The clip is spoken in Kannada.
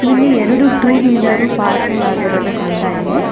ಇಲ್ಲಿ ಎರಡು ಟೂ ವೀಲರ್ ಪಾರ್ಕಿಂಗ್ ಆಗಿರುವುದು ಕಾಣತಾಯಿದೆ.